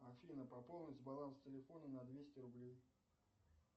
афина пополнить баланс телефона на двести рублей